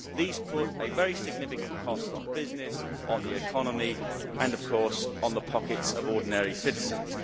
These place a very significant cost on business, on the economy and, of course, on the pockets of ordinary citizens.